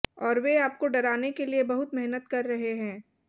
और वे आपको डराने के लिए बहुत मेहनत कर रहे हैं